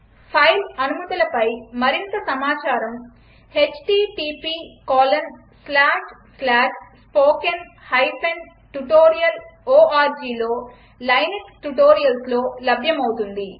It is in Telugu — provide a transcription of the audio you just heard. ఫైల్ అనుమతులపై మరింత సమాచారం httpspoken tutorialorgలో లైనక్స్ ట్యుటోరియల్స్లో లభ్యమవుతుంది